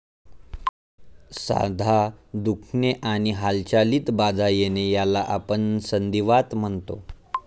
सांधा दुखणे आणि हालचालीत बाधा येणे याला आपण संधीवात म्हणतो.